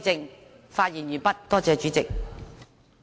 我發言完畢，多謝主席。